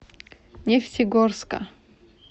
нефтегорска